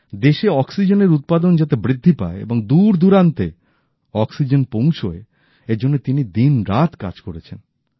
দেশে অক্সিজেনের উৎপাদন যাতে বৃদ্ধি পায় ও দূর দুরান্তে অক্সিজেন পৌঁছয় এর জন্য তিনি দিন রাত কাজ করেছেন